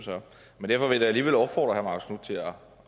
men derfor vil jeg da alligevel opfordre herre